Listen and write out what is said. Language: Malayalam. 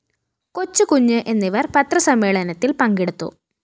കൊച്ചുകുഞ്ഞ് എന്നിവര്‍ പത്രസമ്മേളത്തില്‍ പങ്കെടുത്തു